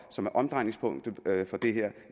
som er omdrejningspunktet for det her